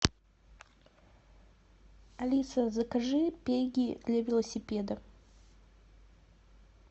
алиса закажи пеги для велосипедов